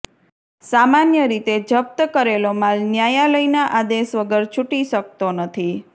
સામાન્ય રીતે જપ્ત કરેલો માલ ન્યાયાલયના આદેશ વગર છૂટી શકતો નથી